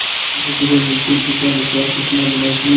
धीरेधीरे मुंशी जी का विश्वास इतना बढ़ा कि